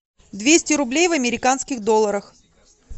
двести рублей в американских долларах